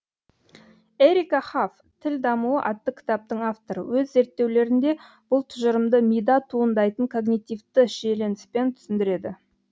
ерика хаф тіл дамуы атты кітаптың авторы өз зерттеулерінде бұл тұжырымды мида туындайтын когнитивті шиелініспен түсіндіреді